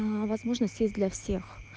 возможно сесть для всех